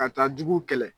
Ka taa juguw kɛlɛ